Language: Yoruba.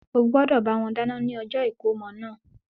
Ó gbọ́dọ̀ bá wọn dáná ní ọjọ́ ìkómọ náà.